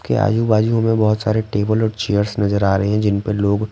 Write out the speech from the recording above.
के आजू-बाजू हमें बहुत सारे टेबल और चेयर्स नजर आ रहे हैं जिन पे लोग--